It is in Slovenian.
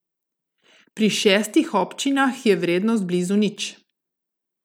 Pri šestih občinah je vrednost blizu nič.